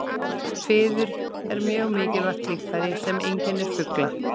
Fiður er mjög mikilvægt líffæri sem einkennir fugla.